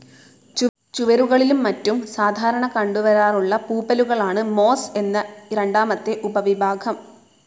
ചുവരുകളിലും മറ്റും സാധാരണ കണ്ടുവരാറുള്ള പൂപ്പലുകളാണ് മോസ്‌ എന്ന രണ്ടാമത്തെ ഉപവിഭാഗം.